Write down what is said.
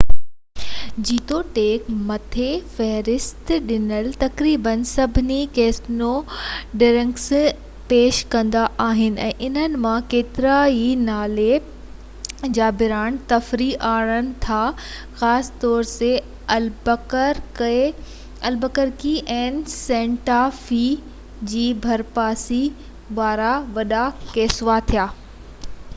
جيتوڻيڪ، مٿي فهرست ڏنل تقريبن سڀئي ڪسينو ڊرنڪس پيش ڪندا آهن، ۽ انهن مان ڪيترائي نالي-برانڊ تفريح آڻين ٿا خاص طور تي البڪرڪي ۽ سينٽا في جي ڀرپاسي وارا وڏا ڪسينو